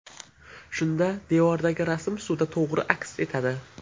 Shunda devordagi rasm suvda to‘g‘ri aks etadi.